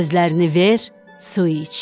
Gözlərini ver, su iç.